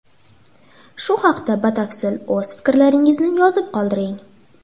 Shu haqda batafsil o‘z fikrlaringizni yozib qoldiring.